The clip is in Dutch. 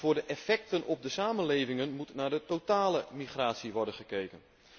Voor de effecten op de samenlevingen moet naar de totale migratie worden gekeken.